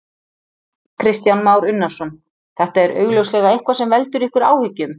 Kristján Már Unnarsson: Þetta er augljóslega eitthvað sem veldur ykkur áhyggjum?